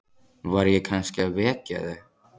Var ég kannski að vekja þig?